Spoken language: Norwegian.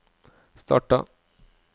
starta